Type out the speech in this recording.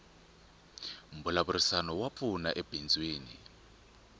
mbulavurisano wa pfuna ebindzwini